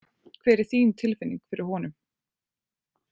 Hver er þín tilfinning fyrir honum?